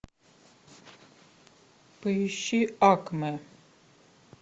поищи акме